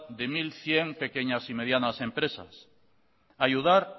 de mil cien pequeñas y medianas empresas ayudar